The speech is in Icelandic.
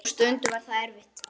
Og stundum var það erfitt.